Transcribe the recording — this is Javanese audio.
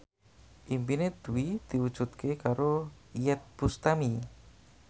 impine Dwi diwujudke karo Iyeth Bustami